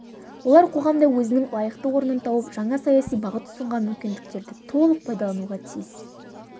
олар қоғамда өзінің лайықты орнын тауып жаңа саяси бағыт ұсынған мүмкіндіктерді толық пайдалануға тиіс